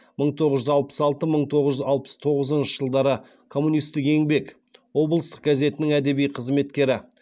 мың тоғыз жүз алпыс алты мың тоғыз жүз алпыс тоғызыншы жылдары коммунистік еңбек облыстық газетінің әдеби қызметкері